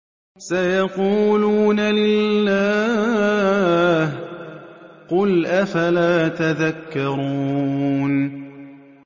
سَيَقُولُونَ لِلَّهِ ۚ قُلْ أَفَلَا تَذَكَّرُونَ